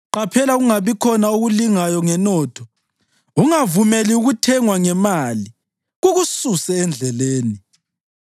Qaphela kungabikhona okulingayo ngenotho; ungavumeli ukuthengwa ngemali kukususe endleleni.